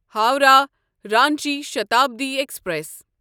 Howrah Ranchi Shatabdi express